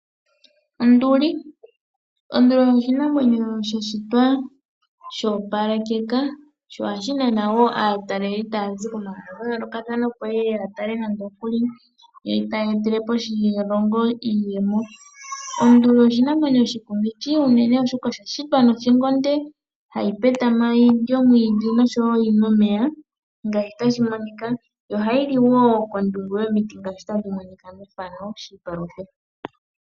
Onduli oshinamwenyo sha shitwa sho opalekeka sho ohashi nana wo aataleli taya zi kondje yomahala gayooloka opo yeye yeyi tale yo tayi gandja iiyemo koshilongo. Onduli oshinamwenyo oshikumithi unene shina othingo onde hayi petama yilye omwiidhi noshowo yinwe omeya. Ohayi li iimeno kondungu yomiti yiipaluthe.